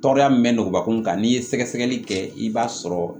Tɔɔrɔya min bɛ nɔgɔbakun kan n'i ye sɛgɛsɛgɛli kɛ i b'a sɔrɔ